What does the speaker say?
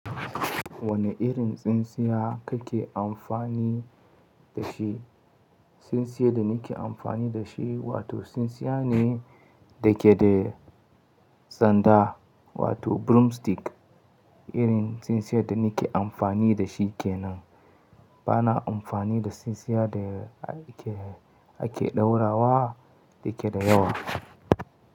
Wane irin tsintsiya kake amfani da shi? Tsintsiya da nake amfani da shi, wato tsintsiya ne da ke da sanda, wato broomstick. Irin tsintsiya da nake amfani da shi ke nan. Bana amfani da tsintsiya da ake, ake ɗaurawa da ke da yawa.